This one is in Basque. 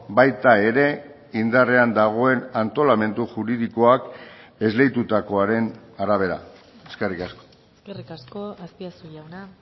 baita ere indarrean dagoen antolamendu juridikoak esleitutakoaren arabera eskerrik asko eskerrik asko azpiazu jauna